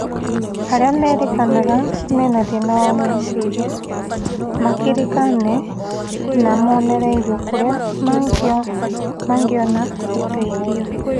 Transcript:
Arĩa marerĩkana mena thĩna wa meciria makĩrĩkane na monererio kũrĩa mangĩona ũteithio